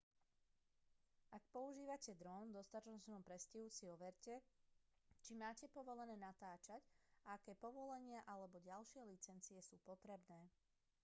ak používate dron v dostatočnom predstihu si overte čo máte povolené natáčať a aké povolenia alebo ďalšie licencie sú potrebné